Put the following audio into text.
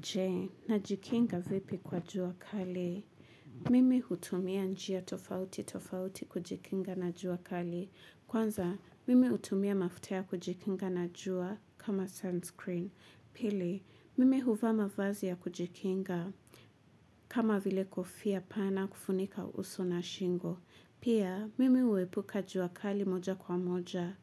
Je, najikinga vipi kwa jua kali. Mimi hutumia njia tofauti tofauti kujikinga na jua kali. Kwanza, mimi hutumia mafuta ya kujikinga na jua kama sunscreen. Pili, mimi huvaa mavazi ya kujikinga kama vile kofia pana kufunika uso na shingo. Pia, mimi huepuka juakali moja kwa moja.